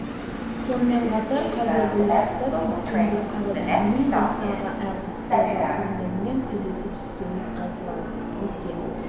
сонымен қатар қазіргі уақытта питтің де қарап жүрмей жастағы әртіс эла пурнеллмен сөйлесіп жүргені айтылады еске